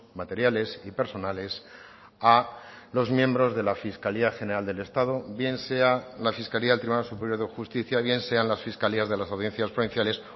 materiales y personales a los miembros de la fiscalía general del estado bien sea la fiscalía del tribunal superior de justicia bien sean las fiscalías de las audiencias provinciales